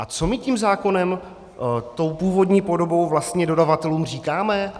A co my tím zákonem, tou původní podobou, vlastně dodavatelům říkáme?